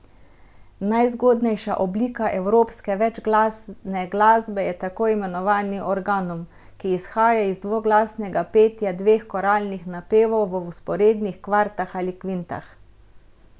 Najzgodnejša oblika evropske večglasne glasbe je tako imenovani organum, ki izhaja iz dvoglasnega petja dveh koralnih napevov v vzporednih kvartah ali kvintah.